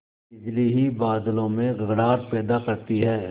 बिजली ही बादलों में गड़गड़ाहट पैदा करती है